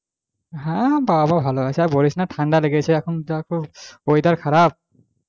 হ্যাঁ বাবা মা ভালো আছে আর বলিস না ঠান্ডা লেগছে এখন যা weather খারাপ,